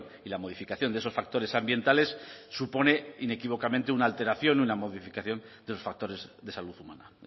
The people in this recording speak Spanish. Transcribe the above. y la modificación de esos factores ambientales supone inequívocamente una alteración y una modificación de los factores de salud humana